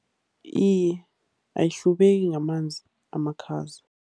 Iye, ayihlubeki ngamanzi amakhaza.